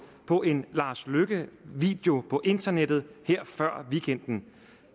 på en lars løkke video på internettet før weekenden